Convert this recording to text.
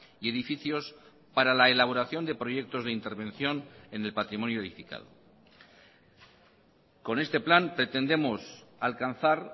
y edificios para la elaboración de proyectos de intervención en el patrimonio edificado con este plan pretendemos alcanzar